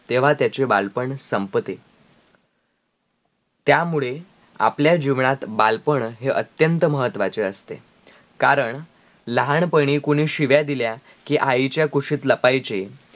तेव्हा त्याचे बालपण संपत्ते त्या मुळे, आपल्या जीवनात बालपण हे अत्यंत महत्वाचे असते कारण लहानपणी कोणी शीव्या दिल्या, कि आईचा कुशीत लपाईचे,